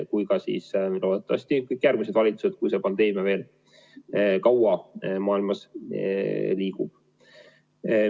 Loodetavasti teevad seda ka kõik järgmised valitsused, kui see pandeemia veel kaua maailmas püsib.